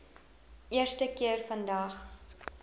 eerste keer vandag